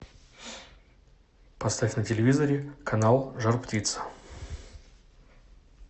поставь на телевизоре канал жар птица